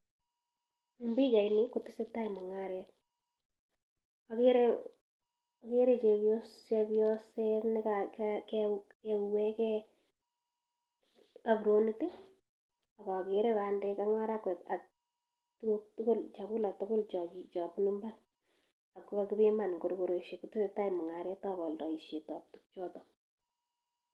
Eng pichaini kotesetai mungaret, ageere chepyoset nekiueweke apronit ak ageere bandek ak marakwek ak chakulek tugul cho bunu imbaar ako kakipiman eng korokoreshek, kotesetai mungaretab oldoishetab tugchoto.